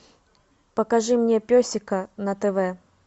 покажи мне песика на тв